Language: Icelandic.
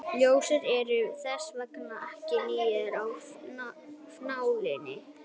ljósleiðarar eru þess vegna ekki nýir af nálinni